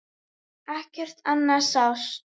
Ekkert annað sást.